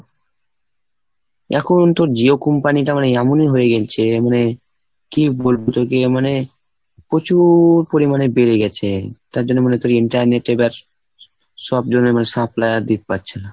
এখন তো Jio company টা মানে এমনই হয়ে গেছে মানে, কি বলবো তোকে মানে প্রচুর পরিমাণে বেড়ে গেছে। তার জন্য মনে করি internet এ এবার সব ধরনের supplier পাচ্ছে না।